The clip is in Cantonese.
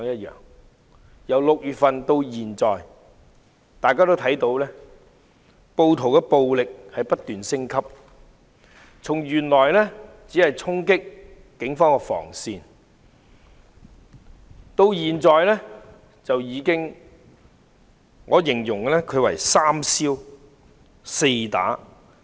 由6月份至今，大家看到暴徒的暴力不斷升級，從原來只是衝擊警方防線，現已變成"三燒四打"。